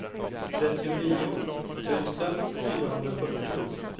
trettionio tusen fyrahundrafyrtio